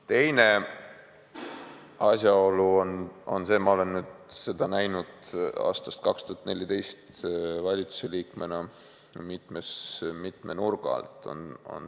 Teine asjaolu on see, ma olen aastast 2014 valitsuse liikmena näinud seda mitme nurga alt.